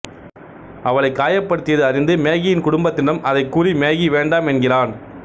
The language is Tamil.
அவளை காயப்படுத்தியது அறிந்து மேகியின் குடும்பத்தினரிடம் அதைக் கூறி மேகி வேண்டாம் என்கிறான்